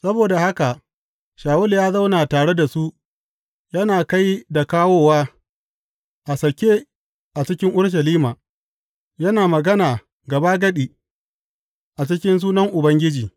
Saboda haka Shawulu ya zauna tare da su yana kai da kawowa a sake a cikin Urushalima, yana magana gabagadi a cikin sunan Ubangiji.